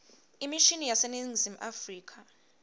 imishini yaseningizimu afrika